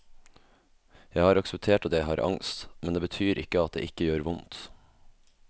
Jeg har akseptert at jeg har angst, men det betyr ikke at det ikke gjør vondt.